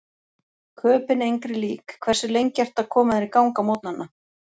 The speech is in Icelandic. Köben engri lík Hversu lengi ertu að koma þér í gang á morgnanna?